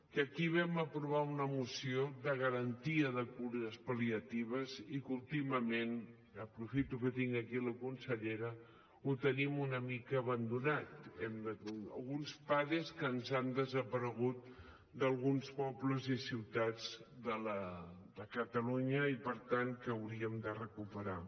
que aquí vam aprovar una moció de garantia de cures pal·liatives i que últimament aprofito que tinc aquí la consellera ho tenim una mica abandonat que alguns pades ens han desaparegut d’alguns pobles i ciutats de catalunya i per tant que hauríem de recuperar